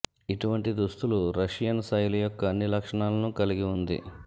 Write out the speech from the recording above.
ఇటువంటి దుస్తులు రష్యన్ శైలి యొక్క అన్ని లక్షణాలను కలిగి ఉంది